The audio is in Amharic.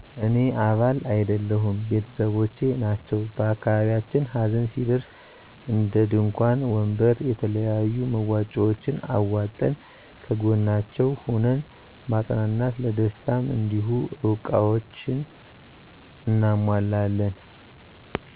እኔ አባል አይደለሁም ቤተሰቦቸ ናቸዉ በአካባቢያችን ሀዘን ሲደርስ እንድንኳን ወንበር የተለያዩ መዋጫዎችን አዋጠን ከጎናቸዉ ሁነን ማፀናናት ለደስታም እንዲሁ እቃዎችን አናሟላለን